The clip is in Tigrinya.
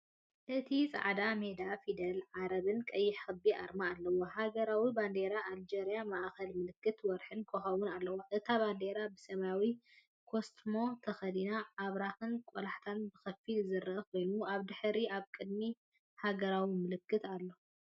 እቲ ጻዕዳ ሜዳ ፊደላት ዓረብን ቀይሕ ክቢ ኣርማን ኣለዎ። ሃገራዊ ባንዴራ ኣልጀርያ ማእከላይ ምልክት ወርሕን ኮኾብን ኣለዋ። እታ ባንዴራ ብሰማያዊ ኮስትሞ ተኸዲና ኣብራኽን ቆላሕታን ብኸፊል ዝርአ ኮይኑ፡ ኣብ ድሕሪት ኣብ ቅድሚ ሃገራዊ ምልክትኣሎ።